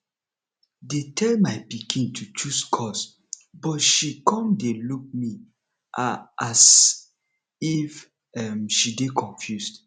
dey tell my pikin to choose course but she come dey look me a as if um she dey confused